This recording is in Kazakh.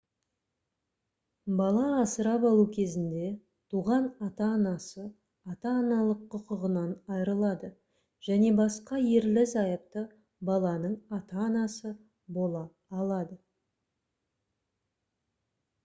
бала асырап алу кезінде туған ата-анасы ата-аналық құқығынан айырылады және басқа ерлі-зайыпты баланың ата-анасы бола алады